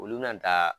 Olu bɛna taa